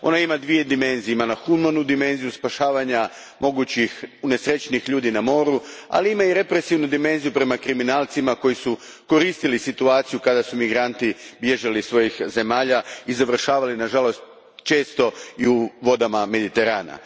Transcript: Ona ima dvije dimenzije humanu dimenziju spašavanja mogućih unesrećenih ljudi na moru, ali i represivnu dimenziju prema kriminalcima koji su koristili situaciju kada su migranti bježali iz svojih zemalja i završavali, nažalost, često i u vodama Mediterana.